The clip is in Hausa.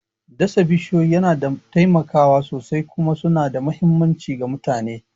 Dasa bishiyoyi yana taimakawa sosai kuma suna da mahimmanci ga mutane.